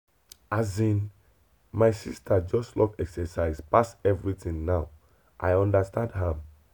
asin my sister just love exercise pass anything now i understand am.